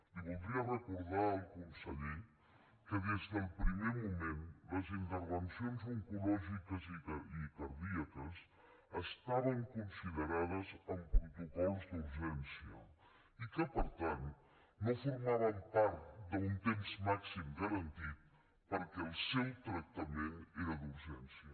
li voldria recordar al conseller que des del primer moment les intervencions oncològiques i cardíaques estaven considerades amb protocols d’urgència i que per tant no formaven part d’un temps màxim garantit perquè el seu tractament era d’urgència